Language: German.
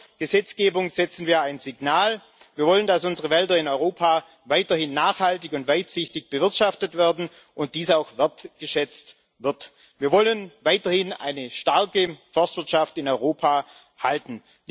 Mit dieser Gesetzgebung setzen wir ein Signal Wir wollen, dass unsere Wälder in Europa weiterhin nachhaltig und weitsichtig bewirtschaftet werden und dass dies auch wertgeschätzt wird. Wir wollen weiterhin eine starke Forstwirtschaft in Europa halten.